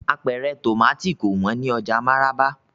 Apẹ̀rẹ̀ tomati kò wón ni oja Maraba.